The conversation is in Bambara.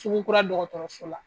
Sugukura dɔgɔtɔrɔso la.